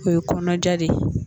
O ye kɔnɔja de